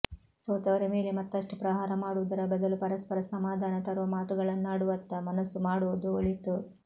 ಸೋತವರ ಮೇಲೆ ಮತ್ತಷ್ಟು ಪ್ರಹಾರ ಮಾಡುವುದರ ಬದಲು ಪರಸ್ಪರ ಸಮಾಧಾನ ತರುವ ಮಾತಗಳನ್ನಾಡುವತ್ತ ಮನಸ್ಸು ಮಾಡುವುದು ಒಳಿತು